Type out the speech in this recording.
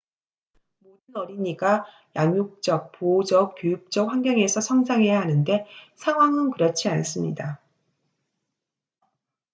모든 어린이가 양육적 보호적 교육적 환경에서 성장해야 하는데 상황은 그렇지 않습니다